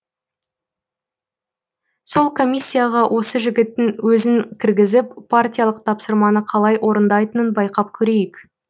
сол комиссияға осы жігіттің өзін кіргізіп партиялық тапсырманы қалай орындайтынын байқап көрейік